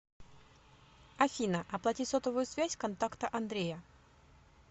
афина оплати сотовую связь контакта андрея